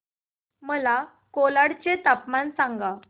मला कोलाड चे तापमान सांगा